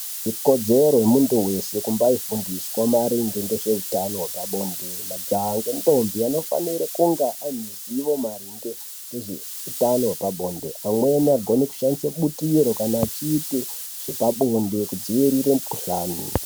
Ikodzero yemuntu weshe kumbaifundiswa maringe ngezveutano hwepabonde , majaha ngendombi anofanira kunga ane zivo maringe ngeutano hwepabonde. Amweni anogone kushandise butiro kana achiziye zvepabonde kudzivirire mukhuhlani.